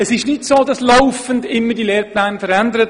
Es ist also nicht so, als würden die Lehrpläne laufend verändert.